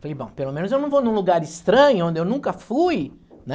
Falei, bom, pelo menos eu não vou num lugar estranho, onde eu nunca fui, né?